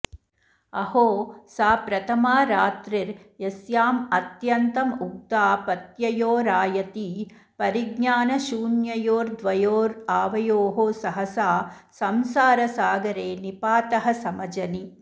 अहो सा प्रथमा रात्रिर्यस्यामत्यन्तमुग्धापत्ययोरायति परिज्ञानशून्ययोर्द्वयोरावयोः सहसा संसारसागरे निपातः समजनि